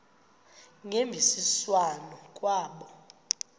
ngemvisiswano r kwabo